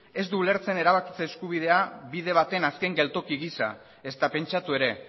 ez du ulertzen erabakitze eskubidea bide baten azken geltoki gisa ezta pentsatu ere